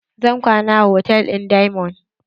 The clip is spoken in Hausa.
Zan kwana a hotal ɗin diamond.